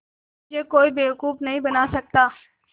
मुझे कोई बेवकूफ़ नहीं बना सकता